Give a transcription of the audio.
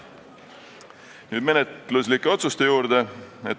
Nüüd menetluslike otsuste juurde.